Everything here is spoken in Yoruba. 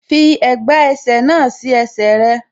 Fi ẹ̀gbà ẹsẹ̀ náà sí ẹsẹ̀ rẹ.